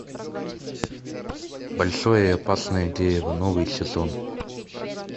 большое и опасное дерево новый сезон